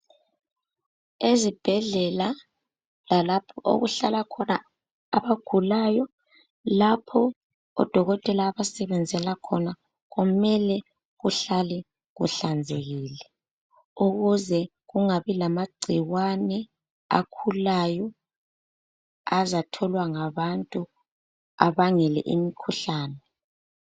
Ezibhedlela lalapho okuhlala khona abagulayo. Lapho odokotela abasebenzela khona kumele kuhlale kuhlanzekile ukuze kungabi lamagcikwane akhulayo azatholwa ngabantu abangele imikhuhlane.